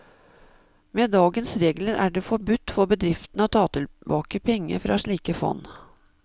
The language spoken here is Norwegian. Med dagens regler er det forbudt for bedriftene å ta tilbake penger fra slike fond.